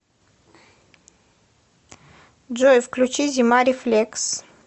джой включи зима рефлекс